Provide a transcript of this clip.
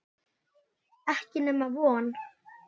Ekki nema von.